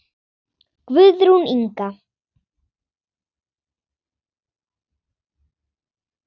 Guðrún Inga.